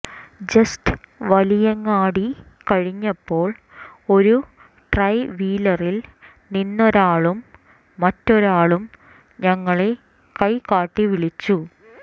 just Valiyangadi കഴിഞ്ഞപ്പോൾ ഒരു ട്രൈവീലറിൽ നിന്നൊരാളും മറ്റൊരാളും ഞങ്ങളെ കൈകാട്ടി വിളിച്ചു